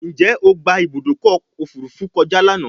Njé o gbà Ibùdókọ̀ òfurufú kọjá lànà?